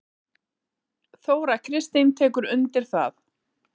Þóra Kristín tekur undir það.